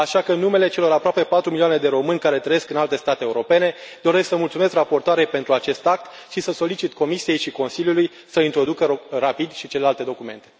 Așa că, în numele celor aproape patru milioane de români care trăiesc în alte state europene, doresc să mulțumesc raportoarei pentru acest act și să solicit Comisiei și Consiliului să introducă rapid și celelalte documente.